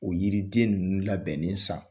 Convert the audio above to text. O yiri den ninnu labɛnnen san.